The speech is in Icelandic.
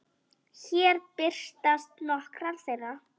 Hér birtast nokkrar þeirra.